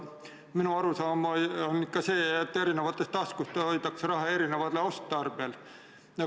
Minu arusaam on ikka selline, et eri taskutes hoitakse erinevaks otstarbeks mõeldud raha.